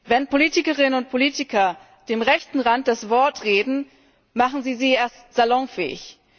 Wenn Politikerinnen und Politiker dem rechten Rand das Wort reden, machen sie ihn erst salonfähig.